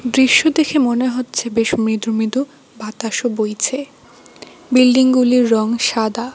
দৃশ্য দেখে মনে হচ্ছে বেশ মৃদু মৃদু বাতাসও বইছে বিল্ডিং -গুলির রঙ সাদা।